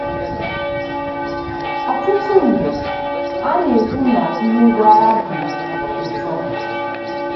Ọtụtụ mgbe, a na-ekwu na mmegwara dị ụtọ.